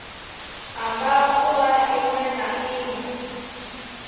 ṱamba ḓuvha ḽiṅwe na ḽiṅwe